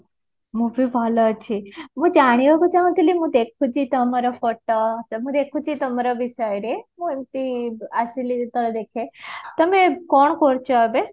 ମୁଁ ଜାଣିବାକୁ ଚାହୁଁ ଥିଲି ମୁଁ ଦେଖୁଚି ତମର photo ତ ମୁ ଦେଖୁଚି ତମର ବିଷୟରେ ମୁଁ ଏମିତି ଆସିଲି ଯେତବେଳେ ଦେଖେ, ତମେ କଣ କରୁଛ ଏବେ?